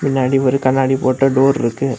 முன்னாடி ஒரு கண்ணாடி போட்ட டோர் இருக்கு.